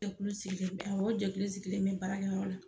Sɛgulu sigilen bɛ yan o jɛkulu sigilen baara kɛ yɔrɔ la